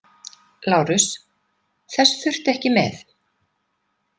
LÁRUS: Þess þurfti ekki með.